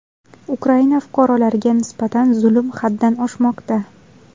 Ukraina fuqarolariga nisbatan zulm haddan oshmoqda.